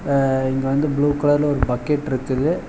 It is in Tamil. அ இங்க வந்து ப்ளூ கலர்ல ஒரு பக்கெட்ருக்குது .